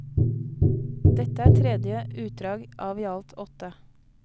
Dette er tredje utdrag av ialt åtte.